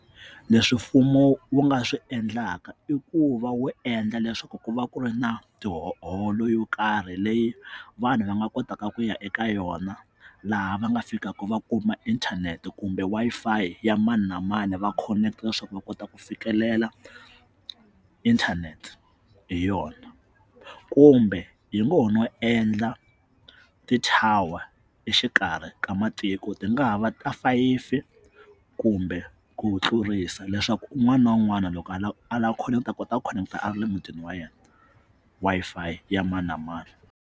Leswi mfumo wu nga swi endlaka i ku va wu endla leswaku ku va ku ri na tiholo yo karhi leyi vanhu va nga kotaka ku ya eka yona laha va nga fikaka va kuma inthanete kumbe Wi-Fi ya mani na mani va khoneketa leswaku va kota ku fikelela inthanete hi yona kumbe hi ngo ho no endla ti-tower exikarhi ka matiko ti nga ha va ta fayifi kumbe ku tlurisa leswaku un'wana na un'wana loko a lava a lava connect-a a kota ku connect-a a ra le mutini wa yena Wi-Fi ya mani na mani.